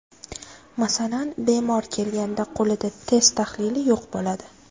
Masalan, bemor kelganda qo‘lida test tahlili yo‘q bo‘ladi.